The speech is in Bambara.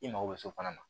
I mago bɛ so fana na